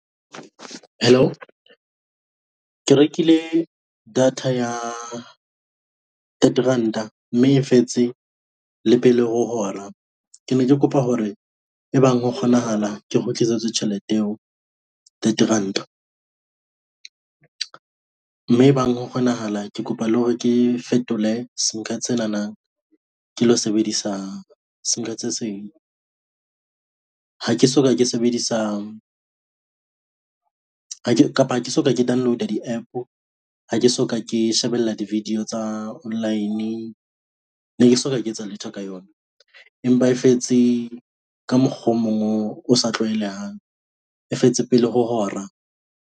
Hello, ke rekile data ya thirty ranta mme e fetse le pele ho hora. Ke ne ke kopa hore e bang ho kgonahala ke kgutlisetswe tjhelete eo thirty ranta, mme e bang ho kgonahala ke kopa le hore ke fetole sim card senana ke lo sebedisa sim card se seng. Ha ke soka ke sebedisa ha ke kapa ha ke soka ke download-a di-app-o. Ha ke soka ke shebella di-video tsa online. Ne ke soka ke etsa letho ka yona. Empa e fetse ka mokgwa o mong o, osa tlwaelehang e fetse pele ho hora.